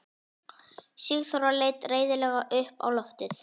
Sigþóra leit reiðilega upp á loftið.